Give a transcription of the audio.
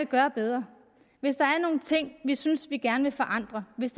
gøre bedre hvis der er nogle ting vi synes vi gerne vil forandre hvis